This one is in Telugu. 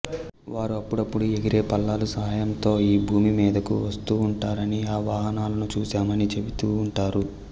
వారు అప్పుడప్పుడు ఎగిరే పళ్ళాలు సహాయంతొ ఈ భూమి మీదకు వస్తూఉంటారనిఆ వాహనాలను చూశామని చెబితూఉంటారు